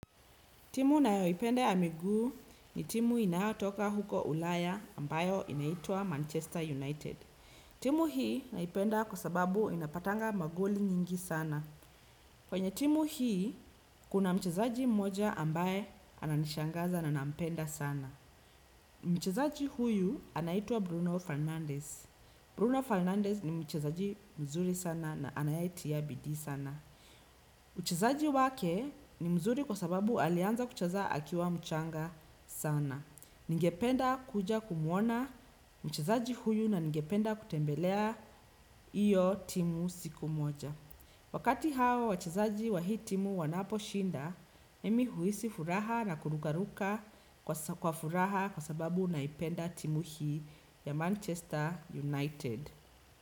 Timu nayoipenda ya miguu ni timu inayotoka huko ulaya ambayo inaitwa Manchester United. Timu hii naipenda kwa sababu inapatanga magoli nyingi sana. Kwenye timu hii kuna mchezaji mmoja ambaye ananishangaza na nampenda sana. Mchezaji huyu anaitwa Bruno Fernandes. Bruno Fernandes ni mchezaji mzuri sana na anayetia bidii sana. Uchezaji wake ni mzuri kwa sababu alianza kucheza akiwa mchanga sana. Ningependa kuja kumuona mchezaji huyu na ningependa kutembelea iyo timu siku moja. Wakati hawa wachezaji wa hii timu wanapo shinda, mimi huhisi furaha na kurukaruka kwa furaha kwa sababu naipenda timu hii ya Manchester United.